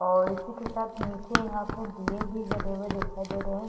और इसी के साथ नीचे यहाँ पे दीये भी जले हुए दिखाई दे रहे हैं।